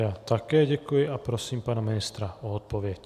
Já také děkuji a prosím pana ministra o odpověď.